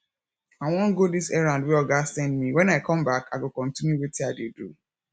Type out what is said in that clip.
i wan go dis errand wey oga send me wen i come back i go continue wetin i dey do